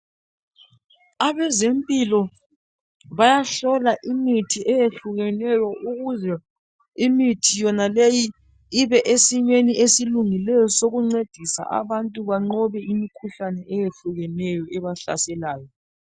Abezempilo bayahlola imithi eyehlukeneyo ukuze imithi yonaleyi ibe esimeni esilungileyo sokuncedisa abantu banqobe imikhuhlane eyehlukeneyo ebahlaselayo.